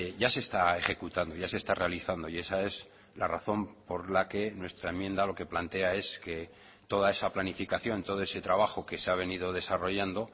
ya se está ejecutando ya se está realizando y esa es la razón por la que nuestra enmienda lo que plantea es que toda esa planificación todo ese trabajo que se ha venido desarrollando